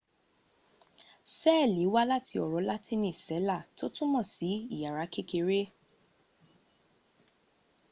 seeli wa lati oro latiini cella to tumo si iyara kekere